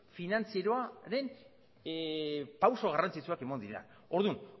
finantzieroan pauso garrantzitsuak eman dira orduan